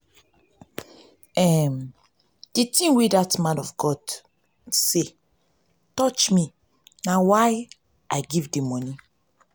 um the thing wey dat man of God say touch me na why i dey give di monie.